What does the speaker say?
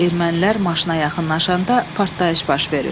Ermənilər maşına yaxınlaşanda partlayış baş verir.